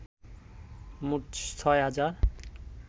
মোট ৬ হাজার